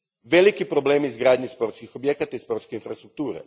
Veliki problemi u izgradnji sportskih objekata i sportske infrastrukture.